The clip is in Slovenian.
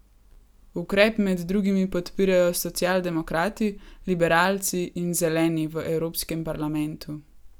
Ukrep med drugimi podpirajo socialdemokrati, liberalci in Zeleni v Evropskem parlamentu.